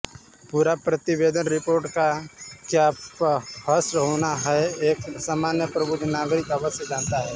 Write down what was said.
पूर प्रतिवेदन रिपोर्ट का क्या हश्र होना है एक सामान्य प्रबुद्ध नागरिक अवश्य जानता है